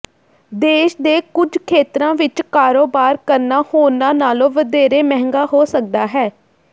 ਦੇਸ਼ ਦੇ ਕੁਝ ਖੇਤਰਾਂ ਵਿੱਚ ਕਾਰੋਬਾਰ ਕਰਨਾ ਹੋਰਨਾਂ ਨਾਲੋਂ ਵਧੇਰੇ ਮਹਿੰਗਾ ਹੋ ਸਕਦਾ ਹੈ